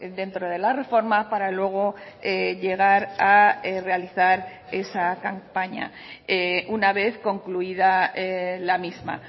dentro de la reforma para luego llegar a realizar esa campaña una vez concluida la misma